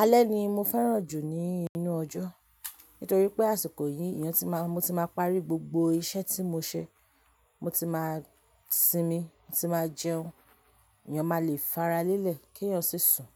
Alẹ́ ni mo fẹ́ràn jù ní inú ọjọ́. Nítorí pé àsìkò yìí, eeyán ti má, mo ti máa parí gbogbo iṣẹ́ tí mo ṣe. Mo ti máa sinmi, mo ti máa jẹun. Èèyàn máa le faralẹ́lẹ̀ kí èèyàn sì sùn.